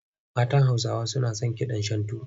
Matan Hausawa na son kidan Shantu.